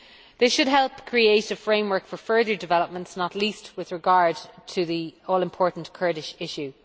This should help create a framework for further developments, not least with regard to the all important Kurdish issue.